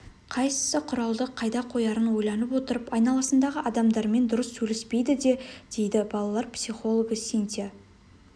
қайсы құралды қайда қоярын ойланып отырып айналасындағы адамдармен дұрыс сөйлеспейді де дейді балалар психологы синтия